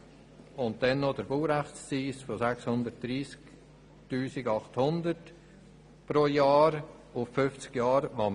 Weiter zu nennen ist der Baurechtszins von 630 800 Franken pro Jahr auf 50 Jahre hinaus.